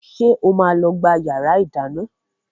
Ṣé o máa lọ gbá yàrá ìdáná?